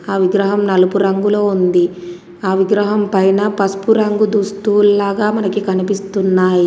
ఆ విగ్రహం నలుపు రంగులో ఉంది ఆ విగ్రహం పైన పసుపు రంగు దుస్తువుల్లాగా మనకి కనిపిస్తున్నాయి.